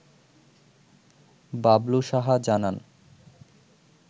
বাবলু সাহা জানান